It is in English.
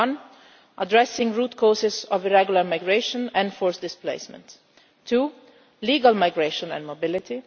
One addressing root causes of irregular migration and forced displacement two legal migration and mobility